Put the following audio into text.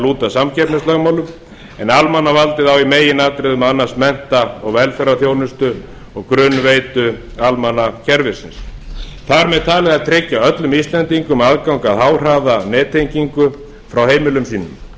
lúta samkeppnislögmálum en almannavaldið á í meginatriðum að annast mennta og velferðarþjónustu og grunnveitu almannakerfisins þar með talið að tryggja öllum íslendingum aðgang að háhraðanettengingu frá heimilum